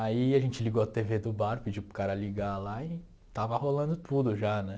Aí a gente ligou a tê vê do bar, pediu para o cara ligar lá e estava rolando tudo já, né?